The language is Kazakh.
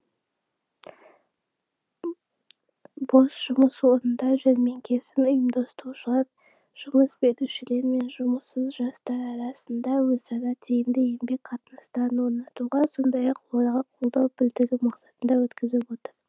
бос жұмыс орындар жәрмеңкесін ұйымдастырушылар жұмыс берушілер мен жұмыссыз жастар арасында өзара тиімді еңбек қатынастарын орнатуға сондай ақ оларға қолдау білдіру мақсатында өткізіп отыр